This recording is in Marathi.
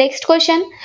next question